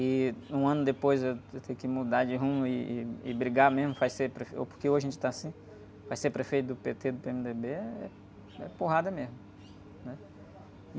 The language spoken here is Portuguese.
e um ano depois eu, eu ter que mudar de rumo e, e, e brigar mesmo, vai ser pref... Ou... Porque hoje a gente tá assim, vai ser prefeito do pê-tê, do pê-eme-dê-bê, é... É porrada mesmo.